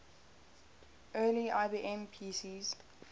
early ibm pcs